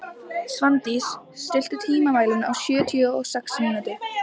Svandís, stilltu tímamælinn á sjötíu og sex mínútur.